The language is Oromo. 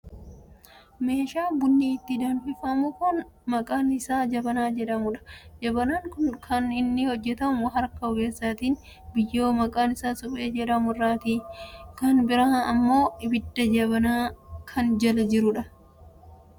Meeshaa bunni ittii danfifamuu kan maqaan isaa jabanaa jedhamudha. Jabanaan kun kan inni hojjatamu harka ogeessaatii, biyyoo maqaan isaa suphee jedhamu irraati. Kan biraa ammoo abiddi jabaana kana jala jira.